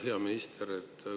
Hea minister!